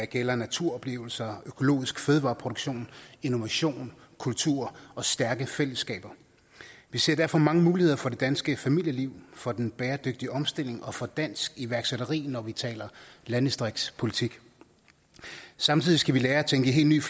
gælder naturoplevelser økologisk fødevareproduktion innovation kultur og stærke fællesskaber vi ser derfor mange muligheder for det danske familieliv for den bæredygtige omstilling og for dansk iværksætteri når vi taler landdistriktspolitik samtidig skal vi lære at tænke i helt nye